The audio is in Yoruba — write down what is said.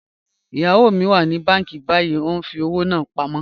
Iyawo mi wà ní bànki bàyìí, o n fi ọwọ́ náà pámọ.